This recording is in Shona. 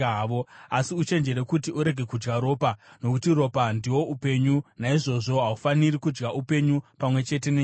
Asi uchenjere kuti urege kudya ropa, nokuti ropa ndihwo upenyu, naizvozvo haufaniri kudya upenyu pamwe chete nenyama.